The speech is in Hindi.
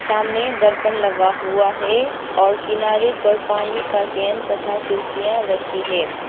सामने दर्पण लगा हुआ है और किनारे पर पानी का कैन तथा कुर्सियां रखी है।